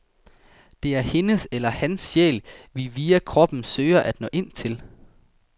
Det er hendes eller hans sjæl, vi via kroppen søger at nå ind til.